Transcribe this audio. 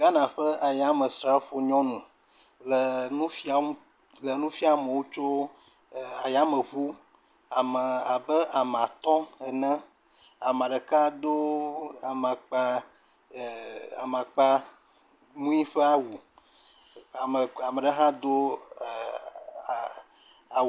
Ghana ƒe ayamesrafo nyɔnu le nu fiam le nu fiam amewo tso e ayameŋu ame abe ame atɔ̃ ene. Ame ɖeka do amakpa e amakpa ŋui ƒe awu. Ame e ame ɖe hã do e e a awu.